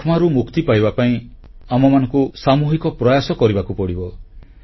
ଯକ୍ଷ୍ମାରୁ ମୁକ୍ତି ପାଇବା ପାଇଁ ଆମମାନଙ୍କୁ ସାମୁହିକ ପ୍ରୟାସ କରିବାକୁ ପଡ଼ିବ